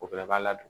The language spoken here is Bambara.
O bɛɛ b'a la don